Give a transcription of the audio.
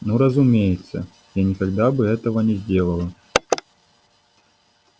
ну разумеется я никогда бы этого не сделала